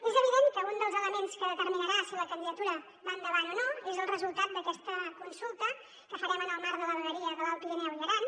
és evident que un dels elements que determinarà si la candidatura va endavant o no és el resultat d’aquesta consulta que farem en el marc de la vegueria de l’alt pirineu i aran